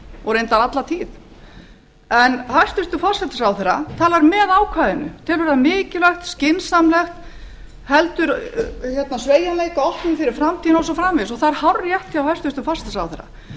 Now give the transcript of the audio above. og reyndar alla tíð en hæstvirtur forsætisráðherra talar með ákvæðinu telur það mikilvægt skynsamlegt heldur sveigjanleika opnum fyrir framtíðina og svo framvegis og það er hárrétt hjá hæstvirtum forsætisráðherra